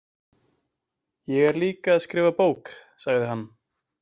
Ég er líka að skrifa bók, sagði hann.